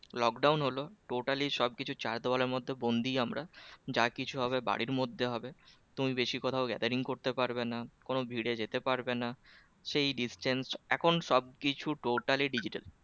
Lockdown হলো totally সব কিছু চার দেয়ালের মধ্যে বন্দি আমরা যা কিছু হবে বাড়ির মধ্যে হবে তুমি বেশি কোথাও gathering করতে পারবে না কোনো ভিড়ে যেতে পারবে না সেই distance এখন সব কিছু totally digital